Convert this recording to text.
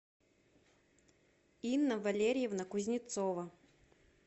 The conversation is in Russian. инна валерьевна кузнецова